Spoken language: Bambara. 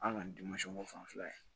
An kɔni ko fan fila ye